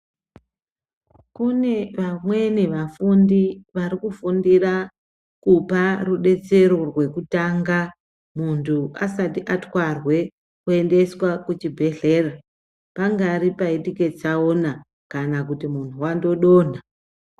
Kune vamweni vafundi varikufundira kupa rudetsero rwekutanga muntu asati atwarwe kuendeswa kuchibhedhlera pangari paitike tsaona kan kuti mantu wangodonha.